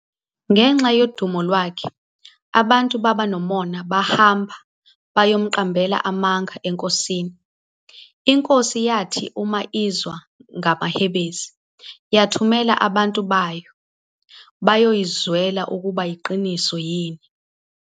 Ngenxa yodumo lwakhe abantu baba nomona bahamba bayomqambela amanga eNkosini, iNkosi yathi uma izwa ngamahebezi yathumela abantu bayo bayoyzwela ukuba yiqiniso yini.